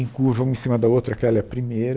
Em curva, uma em cima da outra, aquela é a primeira.